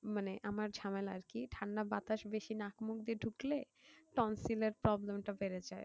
মানে আমার ঝামেলা আর কি ঠান্ডা বাতাস বেশি নাক মুখ দিয়ে ধুকলে tonsil এর problem টা বেড়ে যাই